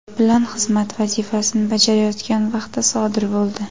bilan xizmat vazifasini bajarayotgan vaqtda sodir bo‘ldi.